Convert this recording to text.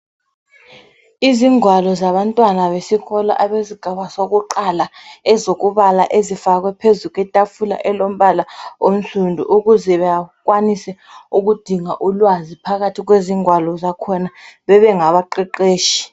Izingwalo zabantwana besikolo abesigaba sokuqala, ezokubala ezifakwe phezu kwetafula elombala onsundu, ukuze bakwanise ukudinga ulwazi phakathi kwezingwalo zakhona bebe ngaba qeqetshi.